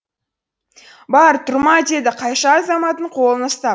бар тұрма деді қайша азаматтың қолын ұстап